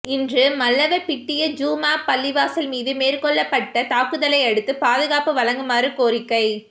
இன்று மல்லவபிட்டிய ஜும்ஆப் பள்ளிவாசல் மீது மேற்கொள்ளப்பட்ட தாக்குதலையடுத்து பாதுகாப்பு வழங்குமாறு கோரிக்கை